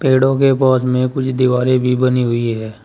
पेड़ों के पास में कुछ दीवारें भी बनी हुई हैं।